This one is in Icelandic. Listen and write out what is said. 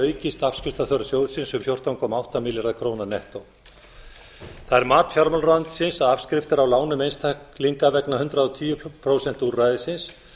aukist afskriftaþörf sjóðsins um fjórtán komma átta milljarða króna nettó það er mat fjármálaráðuneytisins að afskriftir á lánum einstaklinga vegna hundrað og tíu prósent úrræðisins